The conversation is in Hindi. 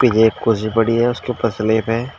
एक कुर्सी पड़ी है उसके ऊपर स्लैब है।